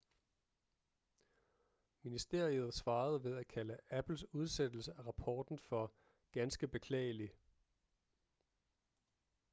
ministeriet svarede ved at kalde apples udsættelse af rapporten for ganske beklagelig